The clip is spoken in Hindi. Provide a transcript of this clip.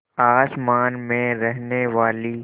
आसमान में रहने वाली